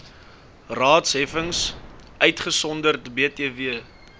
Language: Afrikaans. raadsheffings uitgesonderd btw